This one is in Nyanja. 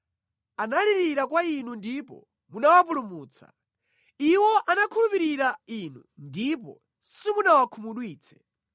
Analirira kwa inu ndipo munawapulumutsa. Iwo anakhulupirira Inu ndipo simunawakhumudwitse.